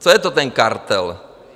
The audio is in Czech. Co je to ten kartel?